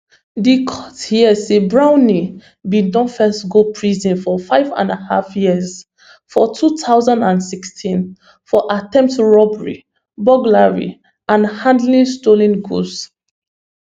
di court hear say brownley bin don first go prison for fiveandahalf years for two thousand and sixteen for attempted robbery burglary and handling stolen goods